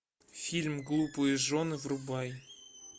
фильм глупые жены врубай